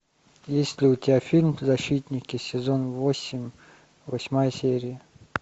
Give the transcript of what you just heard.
есть ли у тебя фильм защитники сезон восемь восьмая серия